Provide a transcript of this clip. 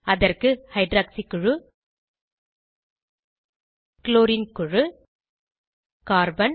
அதற்கு ஹைட்ராக்சி குழு க்ளோரின் குழு கார்பன்